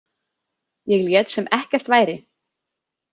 Ég lét sem ekkert væri.